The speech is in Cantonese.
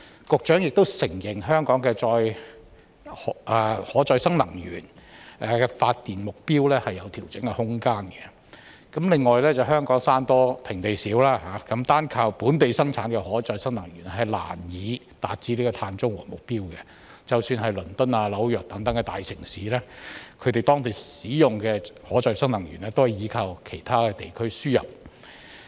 局長亦承認香港以可再生能源發電的目標有調整的空間；另外，香港山多平地少，單靠本地生產的可再生能源難以達致碳中和的目標，即使是倫敦、紐約等大城市，當地使用的可再生能源也是依靠其他地區輸入。